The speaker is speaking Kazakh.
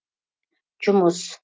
жұмыс